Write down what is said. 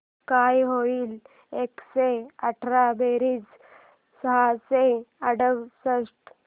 काय होईल एकशे आठ बेरीज सहाशे अडुसष्ट